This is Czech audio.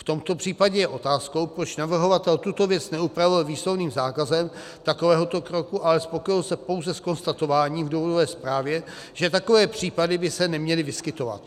V tomto případě je otázkou, proč navrhovatel tuto věc neupravil výslovným zákazem takovéhoto kroku, ale spokojil se pouze s konstatováním v důvodové zprávě, že takové případy by se neměly vyskytovat.